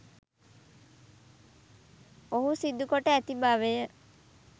ඔහු සිදු කොට ඇති බවය